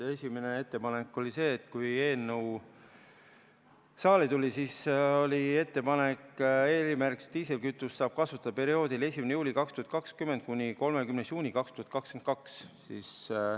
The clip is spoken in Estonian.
Esimene ettepanek oli see, et kui eelnõu saali tuli, siis oli ettepanek, et erimärgistatud diislikütust saab kasutada perioodil 1. juuli 2020 kuni 30. juuni 2022.